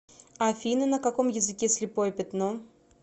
афина на каком языке слепое пятно